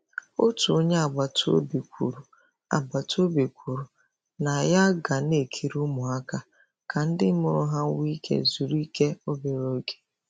Otu onye agbata obi kwuru agbata obi kwuru na ya ga na-ekiri ụmụaka ka ndị mụrụ ha nwee ike zuru ike obere oge.